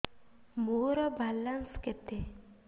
ମୋର ବାଲାନ୍ସ କେତେ